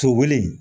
To wuli